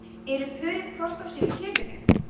eru pörin hvort af sínu kyninu